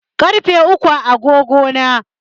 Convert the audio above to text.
Ƙarfe uku a agogo na.